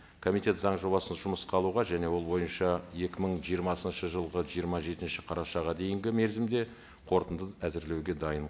комитет заң жобасын жұмысқа алуға және ол бойынша екі мың жиырмасыншы жылғы жиырма жетінші қарашаға дейінгі мерзімде қорытынды әзірлеуге дайын